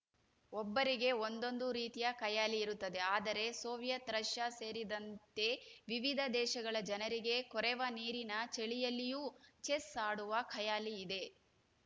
ಒಬ್ಬರಿಗೆ ಒಂದೊಂದು ರೀತಿಯ ಖಯಾಲಿ ಇರುತ್ತದೆ ಆದರೆ ಸೋವಿಯತ್ ರಷ್ಯ ಸೇರಿದಂತೆ ವಿವಿಧ ದೇಶಗಳ ಜನರಿಗೆ ಕೊರೆವ ನೀರಿನ ಚಳಿಯಲ್ಲಿಯೂ ಚೆಸ್ ಆಡುವ ಖಯಾಲಿ ಇದೆ